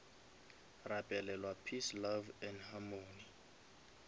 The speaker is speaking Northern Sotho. rapelelwa peace love and harmony